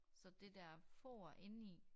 Så det dér for inde i